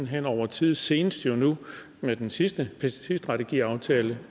hen over tid senest med den sidste pesticidstrategiaftale